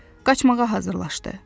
Qaçmağa hazırlaşdı.